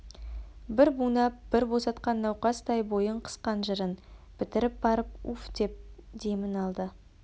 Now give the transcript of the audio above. бір бунап бір босатқан науқастай бойын қысқан жырын бітіріп барып уфдеп демін алды